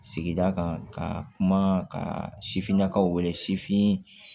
Sigi kan ka kuma ka sifinnakaw wele sifin